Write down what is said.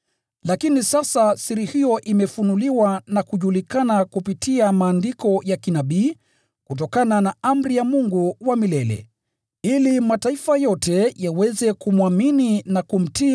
Lakini sasa siri hiyo imefunuliwa na kujulikana kupitia maandiko ya kinabii kutokana na amri ya Mungu wa milele, ili mataifa yote yaweze kumwamini na kumtii